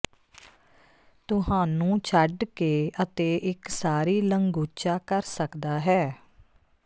ਤੁਹਾਨੂੰ ਛੱਡ ਕੇ ਅਤੇ ਇੱਕ ਸਾਰੀ ਲੰਗੂਚਾ ਕਰ ਸਕਦਾ ਹੈ